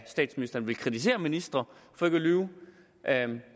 statsministeren vil kritisere ministre for at lyve